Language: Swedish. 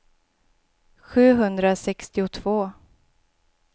sjuhundrasextiotvå